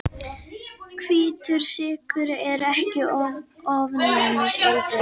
Dómstólaleiðinni fylgir mjög mikil áhætta